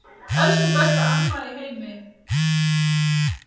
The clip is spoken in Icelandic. Elsku besta amma í heimi.